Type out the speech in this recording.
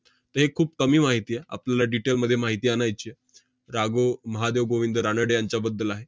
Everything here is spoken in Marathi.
ते खूप कमी माहिती आ~ आपल्याला detail मध्ये माहिती आणायची आहे. रा. गो. महादेव गोविंद रानडे यांच्याबद्दल आहे.